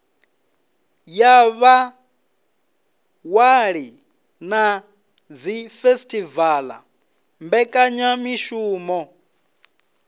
ya vhaṅwali na dzifesitivala mbekanyamishumo